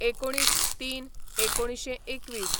१९/०३/१९२१